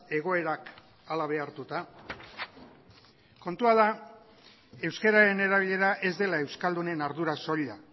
egoerak hala behartuta kontua da euskararen erabilera ez dela euskaldunen ardura soila